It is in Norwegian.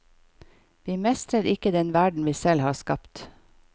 Vi mestrer ikke den verden vi selv har skapt.